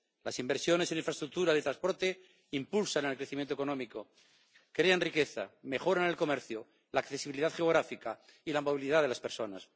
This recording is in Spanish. Las inversiones en infraestructura de transporte impulsan el crecimiento económico, crean riqueza, mejoran el comercio, la accesibilidad geográfica y la movilidad de las personas.